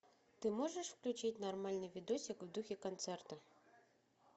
ты можешь включить нормальный видосик в духе концерта